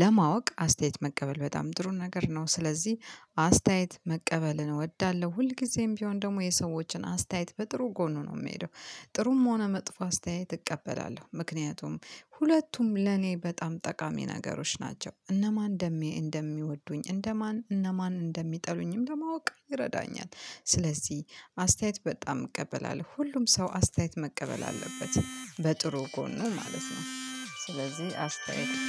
ለማወቅ አስተያየት መቀበል በጣም ጥሩ ነገር ነው። ስለዚህ አስተያየት መቀበልን እወዳለሁ ሁልጊዜም ቢሆን ደግሞ የሰዎችን አስተያየት በጥሩ ጎኑ ነው የምሄደው። ጥሩም ሆነ መጥፎ አስተያየት እቀበላለሁ ምክንያቱም ሁለቱም ለኔ በጣም ጠቃሚ ነገሮች ናቸው። እነማን እንደሚወዱኝ እንደማን እነማን እንደሚጠሉኝም ለማወቅ ይረዳኛል። ስለዚህ አስተያየት በጣም እቀበላለሁ ሁሉም ሰው አስተያየት መቀበል አለበት በጥሩ ጎኑ ማለት ነው። ስለዚህ አስተያየት